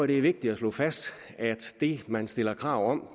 det er vigtigt at slå fast at det man stiller krav om